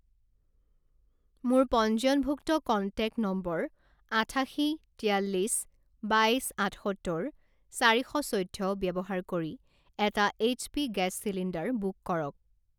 মোৰ পঞ্জীয়নভুক্ত contact number আঠাশী তিয়াল্লিছ বাইছ আঠসত্তৰ চাৰি শ চৈধ্য ব্যৱহাৰ কৰি এটা এইচপি গেছ চিলিণ্ডাৰ বুক কৰক।